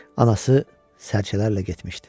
Anası sərçələrlə getmişdi.